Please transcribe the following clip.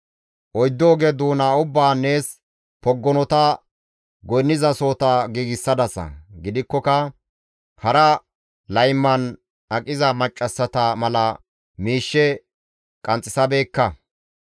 Oyddu oge doona ubbaan nees poggonota goynnizasohota giigsadasa; gidikkoka hara layman aqiza maccassata mala miishshe qanxxisabeekka.